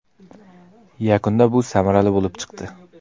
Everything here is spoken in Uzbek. Yakunda bu samarali bo‘lib chiqdi.